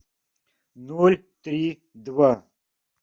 ноль три два